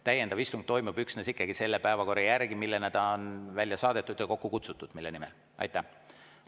Täiendav istung toimub ikkagi üksnes selle päevakorra järgi, mis on välja saadetud ja mille nimel ta on kokku kutsutud.